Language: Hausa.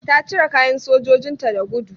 Ta cire kayan sojojinta ta gudu.